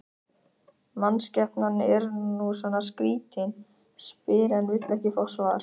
Mannskepnan er nú svona skrýtin, spyr en vill ekki fá svar.